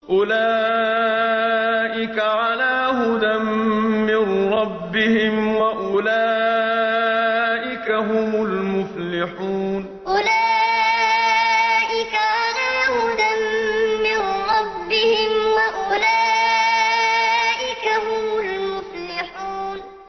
أُولَٰئِكَ عَلَىٰ هُدًى مِّن رَّبِّهِمْ ۖ وَأُولَٰئِكَ هُمُ الْمُفْلِحُونَ أُولَٰئِكَ عَلَىٰ هُدًى مِّن رَّبِّهِمْ ۖ وَأُولَٰئِكَ هُمُ الْمُفْلِحُونَ